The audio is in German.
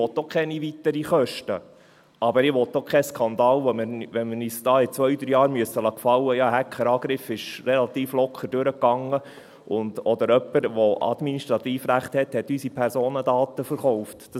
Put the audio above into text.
Auch ich will keine weiteren Kosten, aber ich will auch keinen Skandal, den wir uns in ein paar Jahren gefallen lassen müssten, dass ein Hackerangriff relativ locker durchgegangen ist oder dass jemand, der Administrativrechte hat, unsere Personendaten verkauft hat.